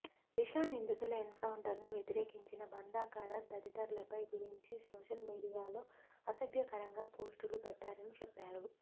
దిశా నిందితుల ఎన్ కౌంటర్ను వ్యతిరేకించిన బందా కరత్ తదితరులపై గురించి సోషల్ మీడియాలో అసభ్యకరంగా పోస్టులు పెట్టారని చెప్పారు